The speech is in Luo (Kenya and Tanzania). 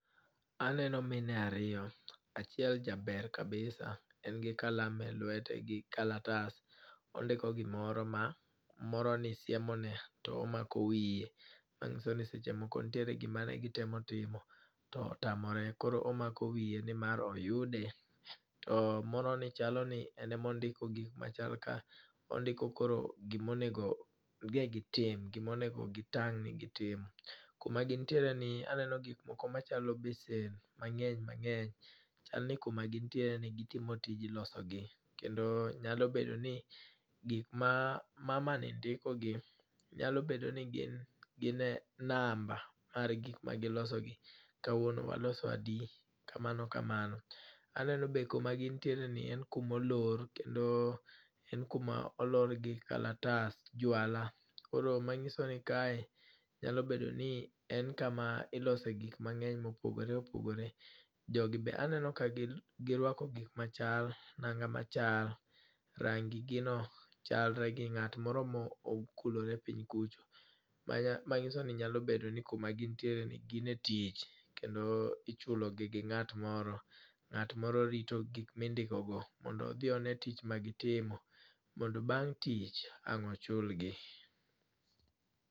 Aneno mine ariyo. Achiel jaber kabisa. En gi kalam e lwete gi kalatas. Ondiko gimoro ma moroni siemone. To omako wiye, manyiso ni seche moko nitiere gima negitemo timo to otamore, koro omako wiye ni mar oyude. To moro ni chal ni en ema ondiko gik ma chal ka ondiko koro gima onego ne gitim. Gima onego gitang' ni gitimo. Kuma gintiere ni aneno gik moko machalo besen mangény, mangény. Chal ni kuma gintiere ni gitimo tij losogi. Kendo nyalo bedo ni gik ma mama ni ndikogi nyalo bedo ni gin, gine namba mar gik ma gilosogi. Kawuono waloso adi? kamano kamano. Aneno be kuma gintiere ni en kuma olor, kendo en kuma olor gi kalatas, jwala. Koro ma nyiso ni kae, nyalo bedo ni kae en kama ilose gik mangény ma opogore opogore. Jogi be aneno ka gin girwako gik machal, nanga machal. Rangi gi no chalre ngi ngát moro ma okulore kucho. Manyiso ni nyalo bedo ni kuma gintiere ni, gin e tich kendo ichulo gi gi ngát moro. Ngát moro rito gik ma indiko go mondo odhi one tich ma gitimo. Mondo bang' tich ang' ochulgi.